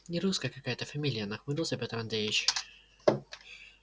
нерусская какая-то фамилия нахмурился петр андреевич